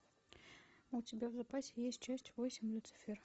у тебя в запасе есть часть восемь люцифер